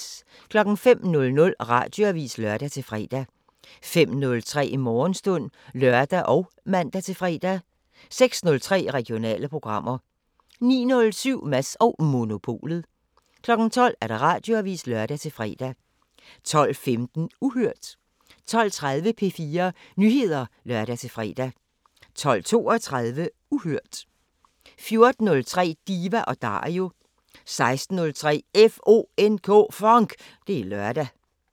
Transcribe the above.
05:00: Radioavisen (lør-fre) 05:03: Morgenstund (lør og man-fre) 06:03: Regionale programmer 09:07: Mads & Monopolet 12:00: Radioavisen (lør-fre) 12:15: Uhørt 12:30: P4 Nyheder (lør-fre) 12:32: Uhørt 14:03: Diva & Dario 16:03: FONK! Det er lørdag